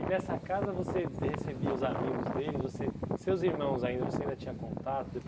E nessa casa você recebia os amigos deles, você seus irmãos ainda, você ainda tinha contato?